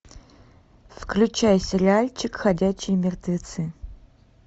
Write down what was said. включай сериальчик ходячие мертвецы